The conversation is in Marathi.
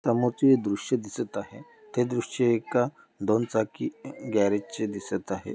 समोरचे दृश्य दिसत आहे ते दृश्य एका दोन चाकी अह गॅरेज चे दिसत आहे.